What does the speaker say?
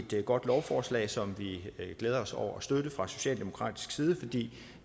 det et godt lovforslag som vi glæder os over at støtte fra socialdemokratisk side fordi